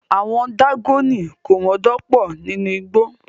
Àwon dágónì komodo pò nínú igbó